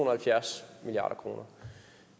og halvfjerds milliard kroner